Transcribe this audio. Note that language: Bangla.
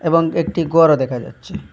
এবং একটি গরও দেখা যাচ্ছে।